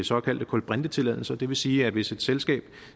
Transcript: såkaldte kulbrintetilladelser og det vil sige at hvis et selskab